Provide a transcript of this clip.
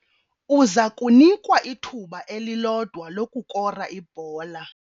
Uza kunikwa ithuba elilodwa lokukora ibhola.